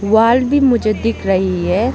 दीवाल भी मुझे दिख रही है।